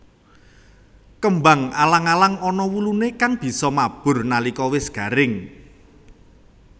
Kembang alang alang ana wuluné kang bisa mabur nalika wis garing